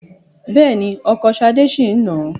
Bẹ́ẹ̀ ni, ọkọ Ṣadé ṣì ń nà á.